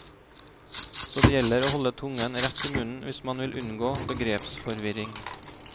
Så det gjelder å holde tungen rett i munnen hvis man vil unngå begrepsforvirring.